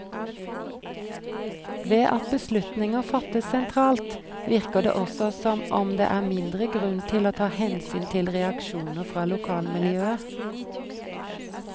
Ved at beslutninger fattes sentralt, virker det også som om det er mindre grunn til å ta hensyn til reaksjoner fra lokalmiljøet.